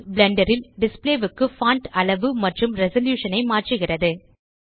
Blender ல் display க்கு font அளவு மற்றும் ரெசல்யூஷன் ஐ மாற்றுகிறது